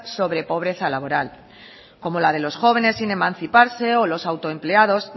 sobre pobreza laboral como la de los jóvenes sin emanciparse o los auto empleados